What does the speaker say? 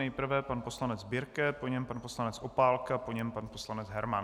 Nejprve pan poslanec Birke, po něm pan poslanec Opálka, po něm pan poslanec Herman.